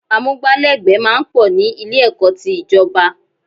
Amúgbálẹ́gbẹ̀ẹ́ máa ń pọ̀ ní Ilé-ẹ̀kọ́ ti ìjọ̀ba